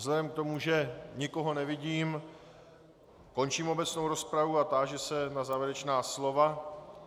Vzhledem k tomu, že nikoho nevidím, končím obecnou rozpravu a táži se na závěrečná slova.